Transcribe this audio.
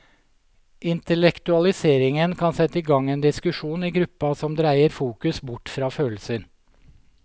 Intellektualiseringen kan sette i gang en diskusjon i gruppa som dreier fokus bort fra følelser.